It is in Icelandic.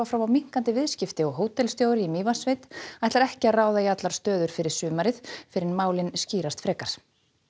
fram á minnkandi viðskipti og hótelstjóri í Mývatnssveit ætlar ekki að ráða í allar stöður fyrir sumarið fyrr en málin skýrast frekar